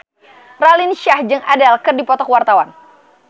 Raline Shah jeung Adele keur dipoto ku wartawan